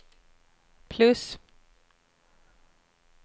plus